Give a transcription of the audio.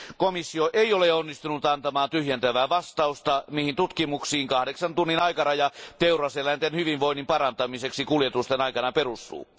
Komissio ei ole onnistunut antamaan tyhjentävää vastausta, mihin tutkimuksiin kahdeksan tunnin aikaraja teuraseläinten hyvinvoinnin parantamiseksi kuljetusten aikana perustuu.